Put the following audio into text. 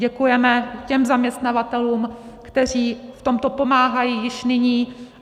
Děkujeme těm zaměstnavatelům, kteří v tomto pomáhají již nyní.